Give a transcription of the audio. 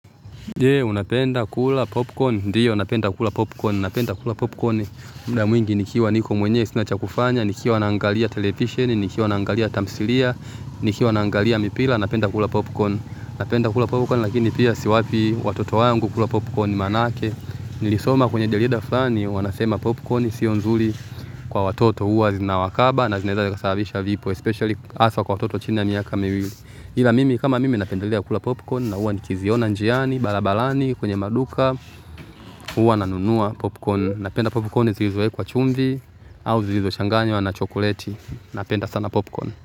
Je, unapenda kula popcorn, ndiyo napenda kula popcorn, napenda kula popcorn muda mwingi nikiwa niko mwenye sinacha kufanya, nikiwa nangalia televisheni, nikiwa nangalia tamthilia, nikiwa nangalia mipira, napenda kula popcorn, napenda kula popcorn lakini pia siwapi watoto wangu kula popcorn manake, nilisoma kwenye jarida fulani, wanasema popcorn sio nzuri kwa watoto huwa zinawakaba na zinaweza sababisha vifo hasa kwa watoto wa chini ya miaka miwili ila mimi kama mimi napendelea kula popcorn na huwa nikiziona njiani barabarani kwenye maduka huwa nanunuwa popcorn. Napenda popcorn zilizoekwa chumvi au zilizochanganywa na chokleti. Napenda sana popcorn.